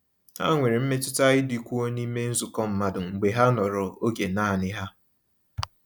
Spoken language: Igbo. Ha nwere mmetụta ịdịkwuo n’ime nzukọ mmadụ mgbe ha nọrọ oge naanị ha.